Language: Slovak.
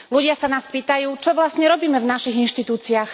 Ľudia sa nás pýtajú, čo vlastne robíme v našich inštitúciách.